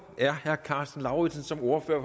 er herre karsten lauritzen som ordfører